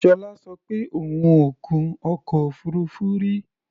Ṣọlá sọ pé òun ò gun ọkọ̀ òfuurufú rí.